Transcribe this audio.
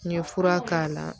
N ye fura k'a la